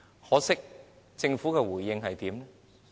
可惜，政府怎樣回應呢？